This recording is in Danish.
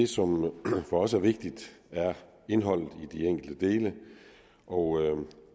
som for os er vigtigt er indholdet i de enkelte dele og